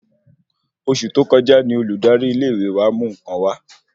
Oṣù tó kọjá ní Olùdarí ilé ìwé wa mú nkan wà